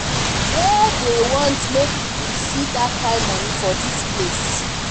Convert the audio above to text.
where dey want make we see dat kin money for dis place